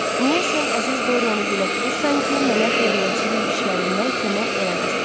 Niyə sən əziz Dorianı dilə tutursan ki, mənə xeyriyyəçilik işlərində kömək eləməsin?